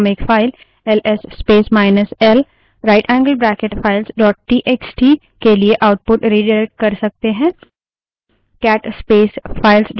हम एक file L S space minus L right angled bracket file dot TXT ls space minus l rightangled bracket files txt के लिए output redirect कर सकते हैं